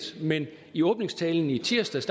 men i åbningstalen i tirsdags